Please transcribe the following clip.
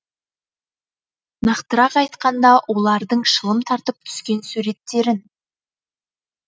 нақтырақ айтқанда олардың шылым тартып түскен суреттерін